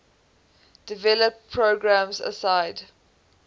development programs aside